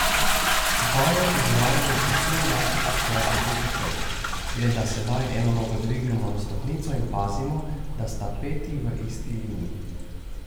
Vajo izvajamo povsem enako kot klasičen počep, le da sedaj eno nogo dvignemo na stopnico in pazimo, da sta peti v isti liniji.